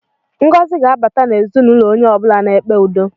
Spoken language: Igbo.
Ngọzi ga-abata n'ezinụlọ onye ọ bụla na-ekpe udo